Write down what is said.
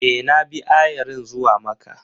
E, na bi ayarin zuwa Makka.